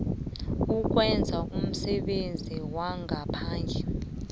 ukwenza umsebenzi wangaphandle